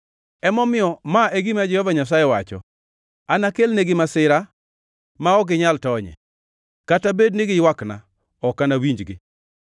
Emomiyo ma e gima Jehova Nyasaye wacho: ‘Anakelnegi masira ma ok ginyal tonye. Kata bed ni giywakna, ok anawinjgi.